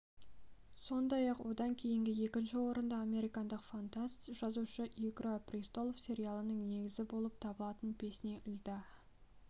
сондай-ақ одан кейінгі екінші орында америкалық фантаст жазушы игра престолов сериалының негізі болып табылатын песни льда